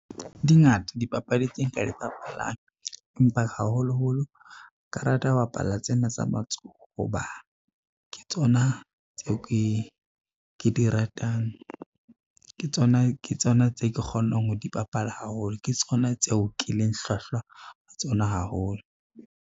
Di ngata dipapadi tse nka di bapalang, empa haholoholo nka rata ho bapala tsena tsa matsoho, ho ba ke tsona tseo ke di ratang, ke tsona tse ke kgonang ho di bapala haholo, ke tsona tseo ke leng hlwahlwa ho tsona haholo.